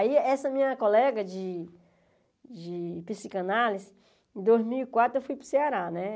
Aí essa minha colega de de psicanálise, dois mil e quatro eu fui para o Ceará, né?